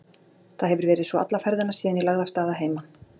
Það hefir verið svo alla ferðina síðan ég lagði af stað að heiman.